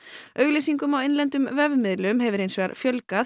auglýsingum á innlendum vefmiðlum hefur hins vegar fjölgað